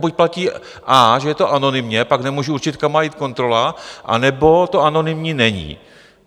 Buď platí a), že je to anonymně, pak nemůžu určit, kam má jít kontrola, anebo to anonymní není.